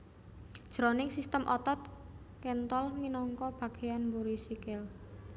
Jroning sistem otot kéntol minangka bagéyan mburi sikil